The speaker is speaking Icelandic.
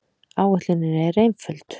Áætlunin er einföld.